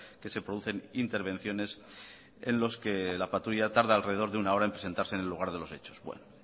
que se producen intervenciones en los que la patrulla tarda alrededor de una hora en presentarse en el lugar de los hechos bueno